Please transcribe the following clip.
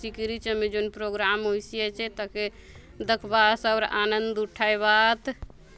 तिकरी छमे जोन प्रोग्राम होयसी आचे ताके दखबा आत आउर आनंद उठायबा आत।